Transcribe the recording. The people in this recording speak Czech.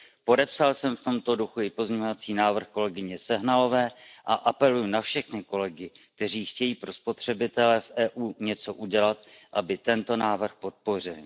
Podepsal jsem v tomto duchu i pozměňovací návrh kolegyně Sehnalové a apeluji na všechny kolegy, kteří chtějí pro spotřebitele v EU něco udělat, aby tento návrh podpořili.